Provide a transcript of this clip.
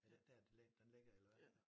Er det ikke dér den lig den ligger eller hvad jo